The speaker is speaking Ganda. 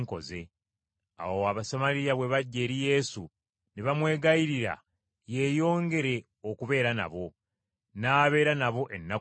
Awo Abasamaliya bwe bajja eri Yesu ne bamwegayirira yeeyongere okubeera nabo, n’abeera nabo ennaku bbiri.